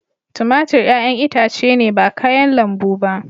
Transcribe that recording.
Tumatur 'ƴa'ƴan itace ne ba kayan lambu ba.